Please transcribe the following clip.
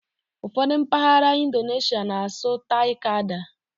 Ụfọdụ mpaghara Indoneshịa na-asụ '"Tai-Kadai".